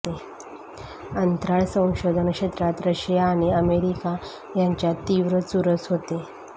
अंतराळ संशोधन क्षेत्रात रशिया आणि अमेरिका यांच्यात तीव्र चुरस होती